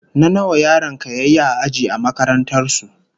What class position did your child come in his school?